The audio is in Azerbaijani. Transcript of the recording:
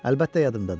Əlbəttə yadımdadır.